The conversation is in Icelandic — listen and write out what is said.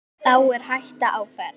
Þá er hætta á ferð.